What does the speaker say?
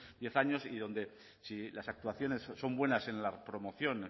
diez años y donde si las actuaciones son buenas en la promoción